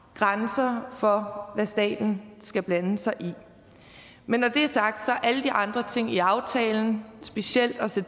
grænser for hvad staten skal blande sig i men når det er sagt er alle de andre ting i aftalen specielt det